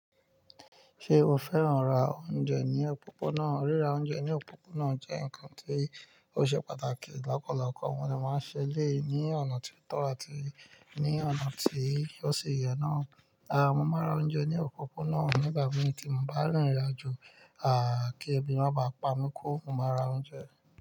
Ṣé o fẹ́ràn lati ra oúnjẹ ní òpópónà? Ríra oúnjẹ ní òpópónà jẹ́ nǹkan tí ó ṣe pàtàkì. Lopọ̀ loopọ̀, mo dè máa ń ṣẹ́ elẹ̀yi ní ọ̀nà tí ó tọ́ àti ní ọ̀nà tí ó ṣi yẹn náà. Mo máa ra oúnjẹ ní òpópónà nígbà mí tí mo bá rìnrìn àjò. Kí ẹbí má ba pamọ́, mo máa ra oúnjẹ.